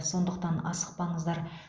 сондықтан асықпаңыздар